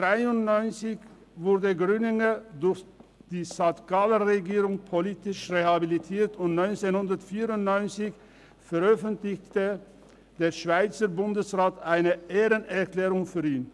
«1993 wurde Grüninger durch die St. Galler Regierung politisch rehabilitiert und 1994 veröffentlichte der Schweizer Bundesrat eine Ehrenerklärung für ihn.